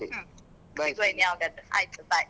ಹ್ಮ್ ಸಿಗುವ ಇನ್ ಯಾವಾಗಾದ್ರೂ ಆಯ್ತು bye .